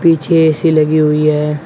पीछे ए_सी लगी हुई है।